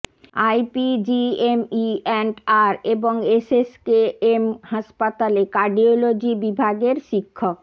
IPGME and R এবং SSKM হাসপাতালে cardiology বিভাগের শিক্ষক